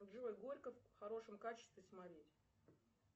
джой горько в хорошем качестве смотреть